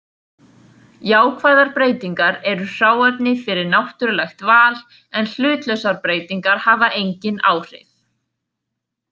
Jákvæðar breytingar eru hráefni fyrir náttúrulegt val en hlutlausar breytingar hafa engin áhrif.